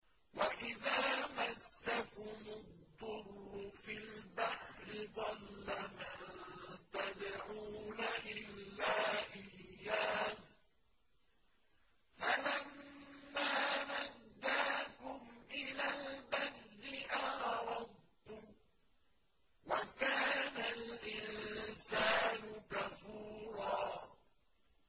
وَإِذَا مَسَّكُمُ الضُّرُّ فِي الْبَحْرِ ضَلَّ مَن تَدْعُونَ إِلَّا إِيَّاهُ ۖ فَلَمَّا نَجَّاكُمْ إِلَى الْبَرِّ أَعْرَضْتُمْ ۚ وَكَانَ الْإِنسَانُ كَفُورًا